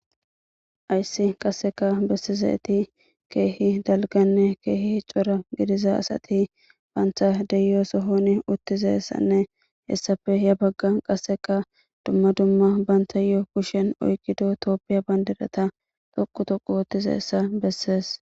hayssi qasseka bessizeti keehi dalganne keehi cora gidiza asati bantha deyo sohoni uttizessanne hessafe ya bagga qasseka dumma dumma banta yo7o kushen oykido tooppiya bandedata toqu toqu wottize essa bessees